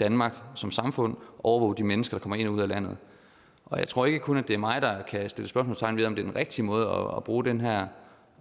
danmark som samfund og overvåge de mennesker der kommer ind og ud af landet jeg tror ikke kun at det er mig der kan sætte spørgsmålstegn ved om det er den rigtige måde at bruge den her